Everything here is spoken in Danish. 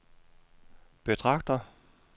betragter